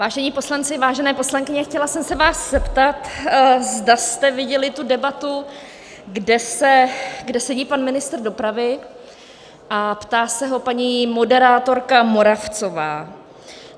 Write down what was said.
Vážení poslanci, vážené poslankyně, chtěla jsem se vás zeptat, zda jste viděli tu debatu, kde sedí pan ministr dopravy a ptá se ho paní moderátorka Moravcová.